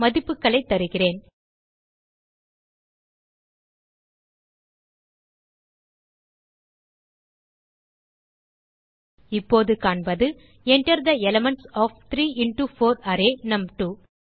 மதிப்புகளைத் தருகிறேன் இப்போது காண்பது Enter the elements of 3 into 4 array நும்2